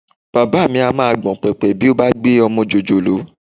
Bàbá mi á máa gbọ̀n pẹ̀pẹ̀ bí ó bá gbé ọmọ jòjòló